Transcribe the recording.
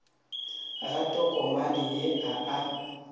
ga tokomane ye a a